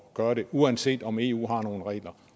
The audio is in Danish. gøre det uanset om eu har nogle regler